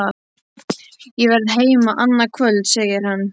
Ég verð heima annað kvöld, segir hann.